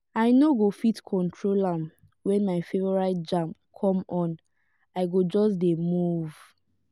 i no go fit control am when my favorite jam come on i go just dey move.